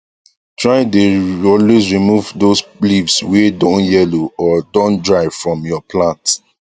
try dae always remove those leaves wae don yellow or don dry from your plants